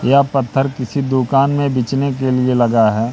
यह पत्थर किसी दुकान में बिछने के लिए लगा है।